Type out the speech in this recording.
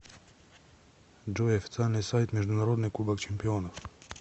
джой официальный сайт международный кубок чемпионов